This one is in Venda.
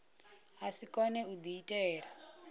a si kone u diitela